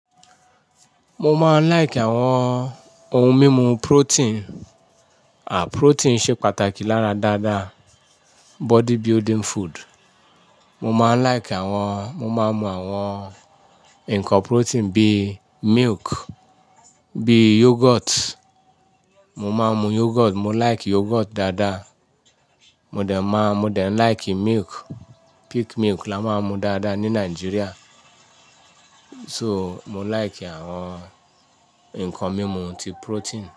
Mo máa ń like àwọn ohun mímu protein. À, protein ṣe pàtàkì lára dáadáa body building food. Mo maa n like mo maa n mu awon nnkan protein bi miliki bi yoghurt. Mo máa ń mu yogurt, mo like yogurt dáadáa. Mo dẹ̀ máa, mo dẹ̀ ń like milk. Peak milk là máa ń mu dáadáa ní Nigeria. So, mo like àwọn nǹkan mímu ti protein.